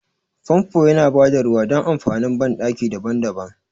Famfo yana bada ruwa dan amfanin banɗaki daban-daban.